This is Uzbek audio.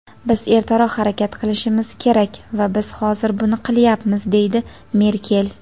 "Biz ertaroq harakat qilishimiz kerak va biz hozir buni qilyapmiz" deydi Merkel.